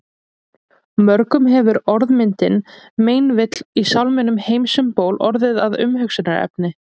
Mörgum hefur orðmyndin meinvill í sálminum Heims um ból orðið að umhugsunarefni.